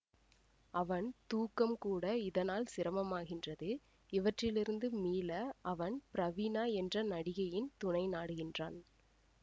அவன் தூக்கம் கூட இதனால் சிரமமாகின்றது இவற்றிலிருந்து மீள அவன் பிரவீணா என்ற நடிகையின் துணை நாடுகின்றான்